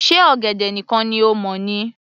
Ṣe ọ̀gẹ̀dẹ̀ nìkan ni o mọ̀ ni